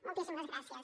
moltíssimes gràcies